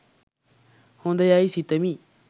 හොඳ යයි සිතමි